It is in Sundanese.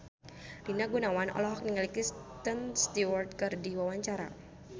Rina Gunawan olohok ningali Kristen Stewart keur diwawancara